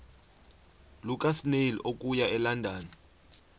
lukasnail okuya elondon